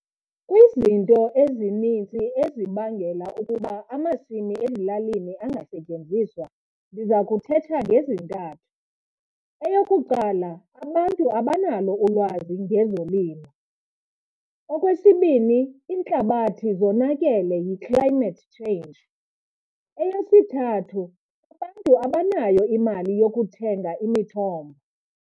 Kwizinto ezinintsi ezibangela ukuba amasimi ezilalini angasetyenziswa ndiza kuthetha ngezintathu. Eyokuqala, abantu abanalo ulwazi ngezolimo. Okwesibini, iintlabathi yonakele yi-climate change. Eyesithathu, abantu abanayo imali yokuthenga imithombo.